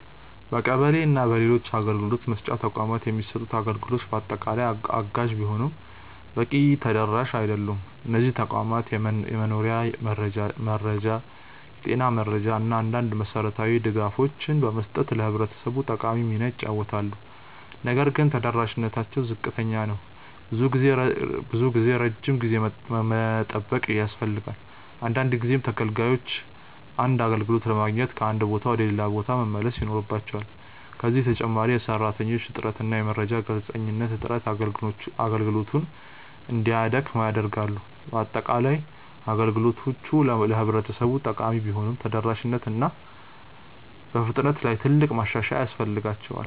በቀበሌ እና በሌሎች አገልግሎት መስጫ ተቋማት የሚሰጡት አገልግሎቶች በአጠቃላይ አጋዥ ቢሆኑም በቂ ተደራሽ አይደሉም። እነዚህ ተቋማት የመኖሪያ መረጃ፣ የጤና መረጃ እና አንዳንድ መሠረታዊ ድጋፎችን በመስጠት ለህብረተሰቡ ጠቃሚ ሚና ይጫወታሉ። ነገር ግን ተደራሽነታቸው ዝቅተኛ ነው። ብዙ ጊዜ ረጅም ጊዜ መጠበቅ ያስፈልጋል፣ አንዳንድ ጊዜም ተገልጋዮች አንድ አገልግሎት ለማግኘት ከአንድ ቦታ ወደ ሌላ መመላለስ ይኖርባቸዋል። ከዚህ በተጨማሪ የሰራተኞች እጥረት እና የመረጃ ግልጽነት እጥረት አገልግሎቱን እንዲያደክም ያደርጋሉ። በአጠቃላይ፣ አገልግሎቶቹ ለህብረተሰቡ ጠቃሚ ቢሆኑም በተደራሽነት እና በፍጥነት ላይ ትልቅ ማሻሻያ ያስፈልጋቸዋል።